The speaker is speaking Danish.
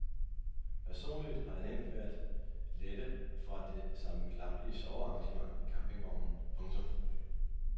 Personligt har jeg nemt ved at lette fra det sammenklappelige sovearrangement i campingvognen. punktum